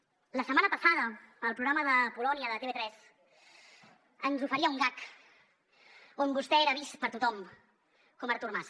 la setmana passada el programa de polònia de tv3 ens oferia un gag on vostè era vist per tothom com artur mas